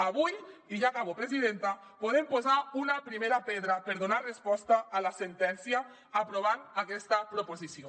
avui i ja acabo presidenta podem posar una primera pedra per donar resposta a la sentència aprovant aquesta proposició